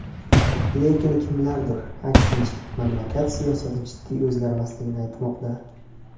Lekin kimlardir, aksincha, mamlakat siyosati jiddiy o‘zgarmasligini aytmoqda.